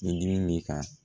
Ni dimi b'i kan